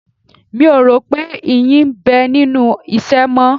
Mi ò rò pé ìyí ń bẹ nínú ìṣẹ́ mọ́